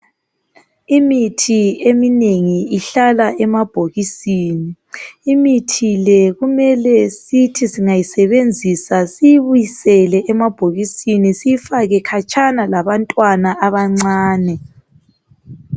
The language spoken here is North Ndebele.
Imithi eminengi ihlala emabhokisini. Imithi le kumele sithi singayisebenzisa siyibisele emabhokisini, siyifake khatshana labantwana abancane.